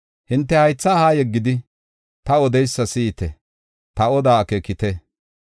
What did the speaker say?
Hinte haytha haa yeggidi, ta odeysa si7ite; ta odaa akeekite.